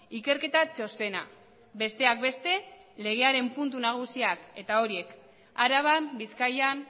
ikerketa txostena besteak beste legearen puntu nagusiak eta horiek araban bizkaian